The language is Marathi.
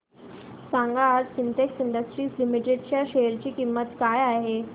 सांगा आज सिन्टेक्स इंडस्ट्रीज लिमिटेड च्या शेअर ची किंमत काय आहे